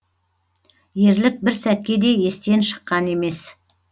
ерлік бір сәтке де естен шыққан емес